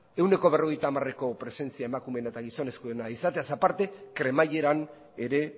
ehuneko berrogeita hamareko presentzia emakumeena eta gizonezkoena izateaz aparte kremaileran ere